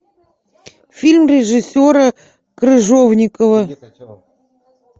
фильм режиссера крыжовникова